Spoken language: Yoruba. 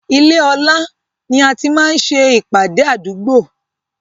Ilé ọlá ni a ti máa ń ṣe ìpàdé àdúgbò